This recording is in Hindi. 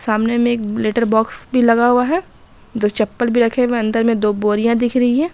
सामने में एक लेटर बॉक्स भी लगा हुआ है दो चप्पल भी रखे हुए है अन्दर में दो बोरिया दिख रही है।